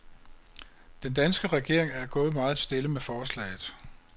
Den danske regering er gået meget stille med forslaget.